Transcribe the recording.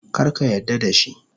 Kar ka yarda da shi.